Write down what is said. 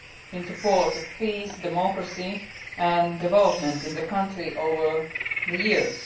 in support of peace, democracy and development in the country over the years.